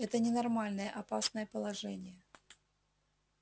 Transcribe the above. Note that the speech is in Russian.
это ненормальное опасное положение